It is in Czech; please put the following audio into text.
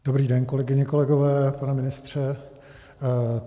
Dobrý den, kolegyně, kolegové, pane ministře.